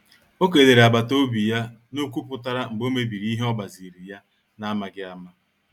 O kelere agbata obi ya n'okwu putara mgbe o mebiri ihe ogbaziri ya na amaghi ama.